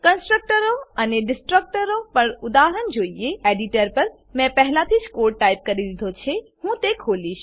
કન્સ્ટ્રકટરો અને ડીસ્ટ્રકટરો પર ઉદાહરણ જોઈએ એડીટર પર મેં પહેલાથી જ કોડ ટાઈપ કરી દીધો છે હું તે ખોલીશ